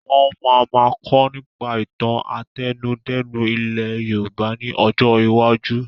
Wọn máa ma kọ́ nípa ìtàn àtẹnudẹ́nu ilẹ̀ Yorùbá ni ọjọ́ iwájú: